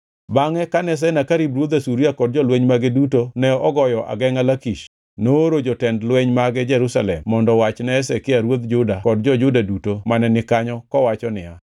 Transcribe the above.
Bangʼe kane Senakerib ruodh Asuria kod jolweny mage duto ne ogoyo agengʼa Lakish, nooro jotend lweny mage Jerusalem mondo owach ne Hezekia ruodh Juda kod jo-Juda duto mane ni kanyo kowacho niya,